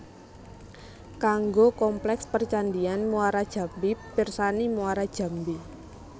Kanggo kompleks percandhian Muarajambi pirsani Muarajambi